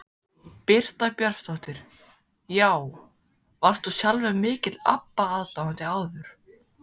Birta Björnsdóttir: Já, varst þú sjálfur mikill Abba aðdáandi áður?